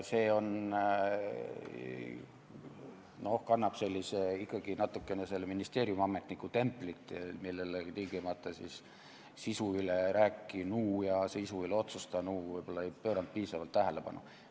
See kannab ikkagi natukene sellist ministeeriumiametniku templit, millele sisu üle rääkinu ja sisu üle otsustanu võib-olla ei pööranud tingimata piisavalt tähelepanu.